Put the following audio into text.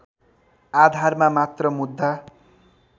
आधारमा मात्र मुद्दा